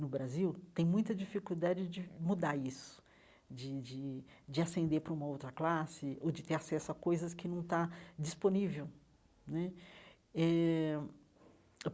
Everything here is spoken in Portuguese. no Brasil, tem muita dificuldade de mudar isso, de de de ascender para uma outra classe ou de ter acesso a coisas que não está disponível né eh.